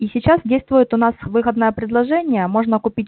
и сейчас действует у нас выгодное предложение можно купить